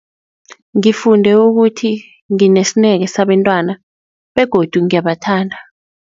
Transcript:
Ngifunde ukuthi nginesineke sabentwana begodu ngiyabathanda.